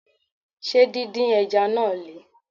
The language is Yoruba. Ṣé din din Ẹja náà Le?